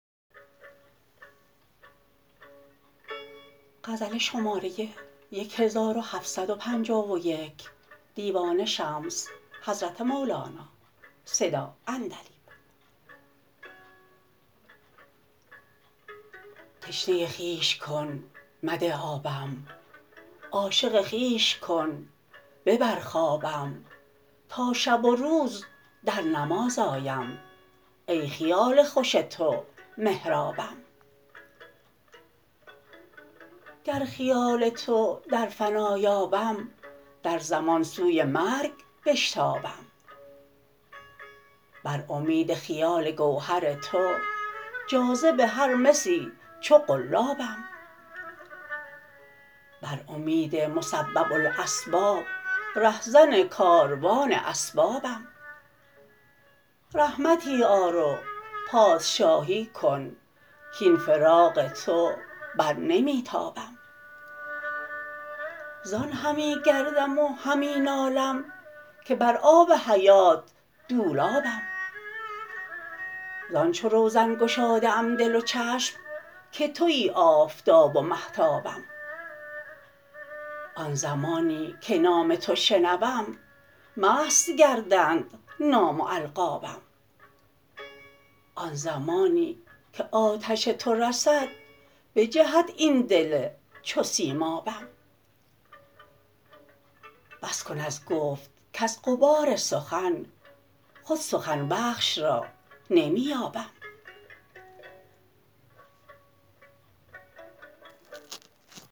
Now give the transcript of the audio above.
تشنه خویش کن مده آبم عاشق خویش کن ببر خوابم تا شب و روز در نماز آیم ای خیال خوش تو محرابم گر خیال تو در فنا یابم در زمان سوی مرگ بشتابم بر امید خیال گوهر تو جاذب هر مسی چو قلابم بر امید مسبب الاسباب رهزن کاروان اسبابم رحمتی آر و پادشاهی کن کاین فراق تو بر نمی تابم زان همی گردم و همی نالم که بر آب حیات دولابم زان چو روزن گشاده ام دل و چشم که توی آفتاب و مهتابم آن زمانی که نام تو شنوم مست گردند نام و القابم آن زمانی که آتش تو رسد بجهد این دل چو سیمابم بس کن از گفت کز غبار سخن خود سخن بخش را نمی یابم